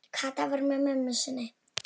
Kata var með mömmu sinni.